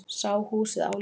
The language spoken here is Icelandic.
Sá húsið álengdar.